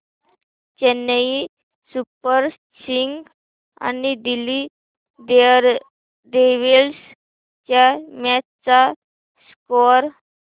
Chennai super kings आणि Delhi daredevils च्या match चा स्कोअर